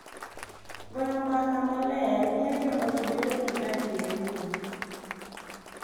Goyo mbaka maler miyo jo ot bedo gi adier ni